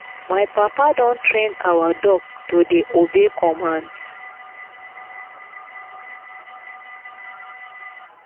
my papa don train our dog to dey obey commands